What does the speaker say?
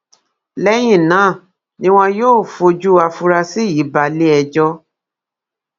lẹyìn náà ni wọn yóò fojú àfúrásì yìí balẹẹjọ